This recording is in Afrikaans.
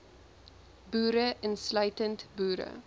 boere insluitend boere